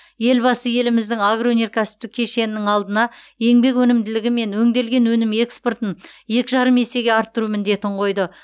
елбасы еліміздің агроөнеркәсіптік кешенінің алдына еңбек өнімділігі мен өңделген өнім экспортын екі жарым есе арттыру міндетін қойды